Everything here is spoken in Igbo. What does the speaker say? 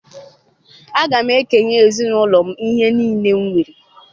Aga m ekenye ezinụlọ m ihe niile m nwere.